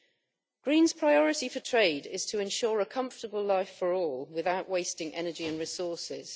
The Greens' priority for trade is to ensure a comfortable life for all, without wasting energy and resources.